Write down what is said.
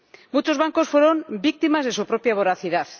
Muchos bancos fueron víctimas de su propia voracidad.